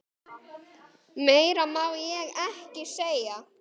Meira má ég ekki segja.